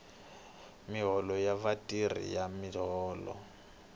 miholo ya vatirhi ya miholo